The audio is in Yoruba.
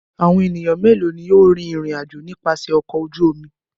Àwọn ènìyàn mélòó ni ó rìn ìrìnàjò nípasẹ̀ ọkọ̀ ojú omi?